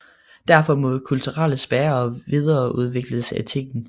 Derfor må kulturens bærere videreudvikle etikken